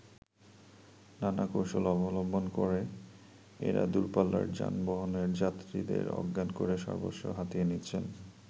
নানা কৌশল অবলম্বন করে, এরা দূরপাল্লার যানবাহনের যাত্রীদের অজ্ঞান করে সর্বস্ব হাতিয়ে নিচ্ছেন।